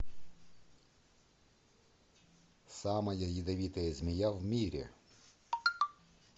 самая ядовитая змея в мире